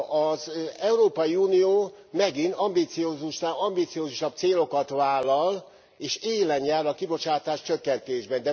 Az Európai Unió megint ambiciózusnál ambiciózusabb célokat vállal és élen jár a kibocsátás csökkentésben.